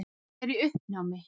Ég er í uppnámi.